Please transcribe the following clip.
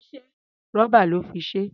Rọ́bà lọ́ fi ṣe é.